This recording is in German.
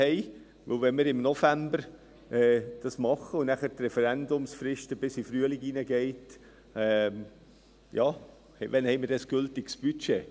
Denn wenn wir dies im November machen und die Referendumsfrist dann bis in den Frühling hineinreicht, wann haben wir dann ein gültiges Budget?